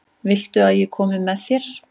Viltu að ég komi með þér?